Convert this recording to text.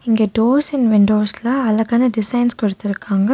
இங்க doors and விண்டோஸ்ல அழகான டிசைன்ஸ் கொடுத்துருக்காங்க.